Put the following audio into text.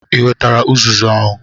Ị wetara uzuzu ahu?